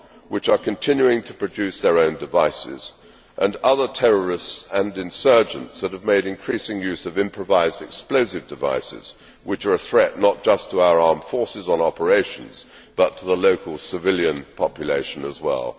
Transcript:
FARC, which are continuing to produce their own devices, and other terrorists and insurgents that have made increasing use of improvised explosive devices, which are a threat not just to our armed forces on operations but to the local civilian population as well.